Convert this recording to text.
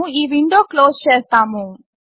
మనము ఈ window close చేస్తాము